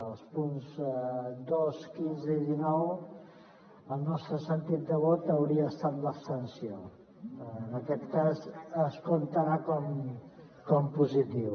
als punts dos quinze i dinou el nostre sentit de vot hauria estat l’abstenció en aquest cas es comptarà com a positiu